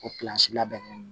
O labɛn